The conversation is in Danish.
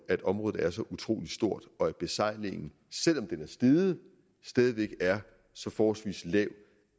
at området er så utrolig stort og at besejlingen selv om den er steget stadig væk er så forholdsvis lav